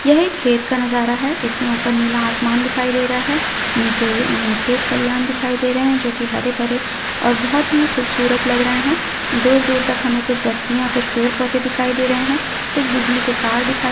यह एक खेत का नजारा है इसमे ऊपर नीला आसमान दिखाई दे रहा है नीचे अ खेत खलियान दिखाई दे रहे जो की हरे-भरे और बहुत ही खूबसूरत लग रहे है दूर- दूर तक हमे कुछ बस्तियां कुछ पेड़ -पौधे दिखाई दे रहे है कुछ बिजली के तार दिखाई दे--